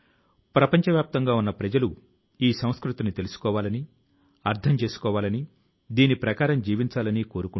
తపాలా విభాగం లో ఈ పరిశుభ్రత ఉద్యమం ప్రారంభించినప్పుడు అక్కడ ఉన్న జంక్యార్డ్ పూర్తి గా ఖాళీ అయింది